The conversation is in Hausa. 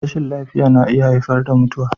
Rashin lafiya na iya haifar da mutuwa.